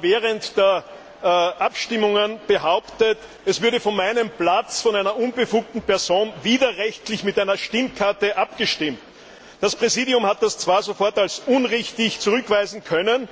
während der Abstimmungen behauptet, es würde von meinem Platz von einer unbefugten Person widerrechtlich mit einer Stimmkarte abgestimmt. Das Präsidium hat das sofort als unrichtig zurückweisen können.